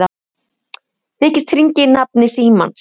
Þykist hringja í nafni Símans